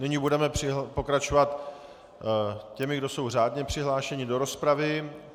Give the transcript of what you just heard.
Nyní budeme pokračovat těmi, kdo jsou řádně přihlášeni do rozpravy.